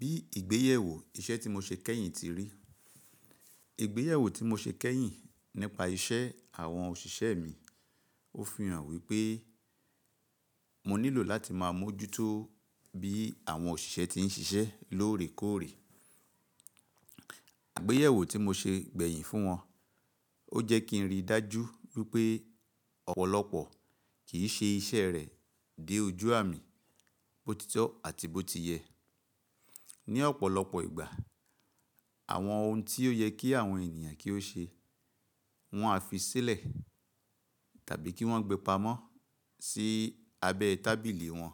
Bí ìgbéyèwò iṣẹ́ tí mo ṣe kẹ́yìn ti rí, ìgbéyèwò tí mo ṣe kẹ́yìn nípa iṣẹ́ àwọn òṣìṣẹ́ mi, ó fi hàn wípé mo nílò láti máa mójútó bí àwọn òṣìṣẹ́ ti ń ṣiṣẹ́ lóòrèkóòrè. Àgbéyèwò tí mo ṣe gbẹ̀yìn fún wọn, ó jẹ́ kí n rí dájú wípé ọ̀pọ̀lọpọ̀ kì í ṣe iṣẹ́ rẹ̀ dé ojú àmì, bó ti tọ́ àti bó ti yẹ. Ni ọ̀pọ̀lọpọ̀ ìgbà àwọn ohun tí ó yẹ kí àwọn ènìyàn kí ó ṣe, wọ́n á fi sílẹ̀ tàbí kí wọ́n gbe pamọ́ sí abẹ́ tábìlì wọn.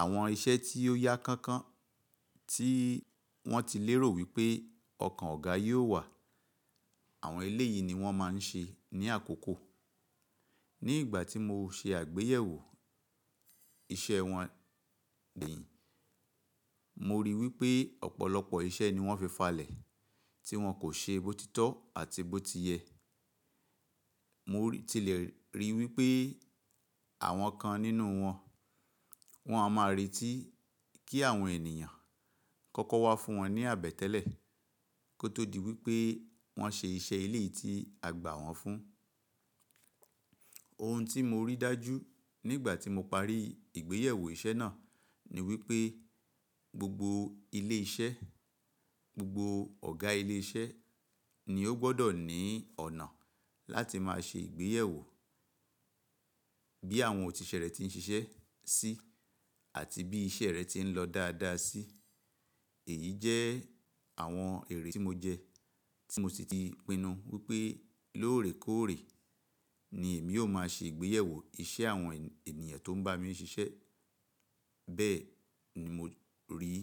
Àwọn iṣẹ́ tí ó yá kankan tí wọ́n ti lérò wípé ọkàn ọ̀gá yóò wà, àwọn eleyìí ni wọ́n máa ń ṣe ní àkókò. Ní ìgbà tí mo ṣe àgbéyèwò iṣẹ́ wọn gbẹ̀yìn, mo ríi wípé ọ̀pọ̀lọpọ̀ iṣẹ́ ni wọ́n fi falẹ̀ tí wọ́n kò ṣe bó ti tọ́ àti bó ti yẹ. Mo ti le ríi wípé àwọn kan nínú wọn, wọ́n a má retí kí àwọn ènìyàn kọ́kọ́ wá fún wọn ní àbẹ̀tẹ́lẹ̀ kó tó di wípé wọ́n ṣe iṣẹ́ eléyìí tí a gbà wọ́n fún. Ohun tí mo rí dájú nígbà tí mo parí ìgbéyèwò iṣẹ́ náà ni wípé gbogbo ilé iṣẹ́, gbogbo ọ̀gá ilé iṣẹ́ ni ó gbọ́dọ̀ ní ọ̀nà láti máa ṣe ìgbéyèwò bí àwọn òṣìṣẹ́ rẹ ti ń ṣe iṣẹ́ sí àti bí iṣẹ́ rẹ ti ń lọ dáadáa sí. Èyí jẹ́ àwọn ère tí mo jẹ, tí mo sì ti pinnu wípé lóòrèkóòrè ni èmi ó máa ṣe ìgbéyèwò iṣẹ́ àwọn ènìyàn tó ń bá mi ṣe iṣẹ́. Bẹ́ẹ̀ ni mo rí i.